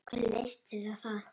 Hvernig litist þér á það?